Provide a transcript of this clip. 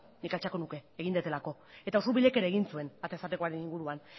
nik altxatuko nuke egin dudalako eta usurbilek ere egin zuen atez atekoaren inguruan